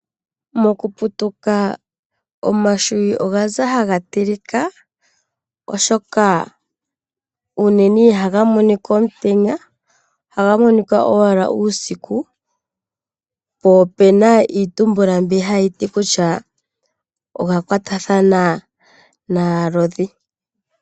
Mokuputuka omahwiyu ohgaza haga tilikwa oshoka unene ihaga monika omutenya oha ga monika owala uusiku, po opuna iitumbula mbi hayiti kutya oha kwatathana naalodhi.